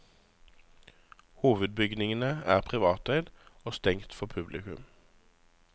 Hovedbygningen er privateid og stengt for publikum.